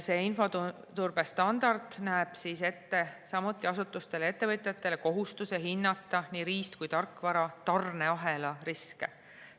See infoturbestandard näeb asutustele ja ettevõtjatele ette kohustuse hinnata nii riist- kui ka tarkvara tarneahela riske.